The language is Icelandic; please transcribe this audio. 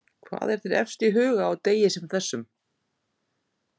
Hvað er þér efst í huga á degi sem þessum?